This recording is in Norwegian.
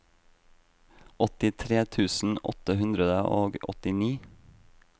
åttitre tusen åtte hundre og åttini